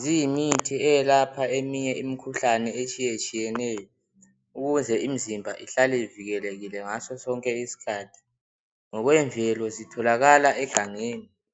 Ziyimithi eyelapha eminye imikhuhlane etshiyetshiyeneyo ukuze imizimba ihlale ivikelekile ngaso sonke isikhathi. Ngokwemvelo zitholakala egangeni.